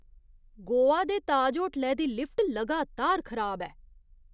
गोवा दे ताज होटलै दी लिफ्ट लगातार खराब ऐ।